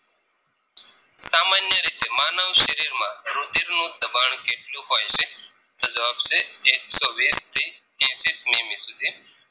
માનવ શરીર માં રુધિરનું દબાણ કેટલું હોય છે તો જવાબ છે એકસો વીસથી એસી સેમી સુધી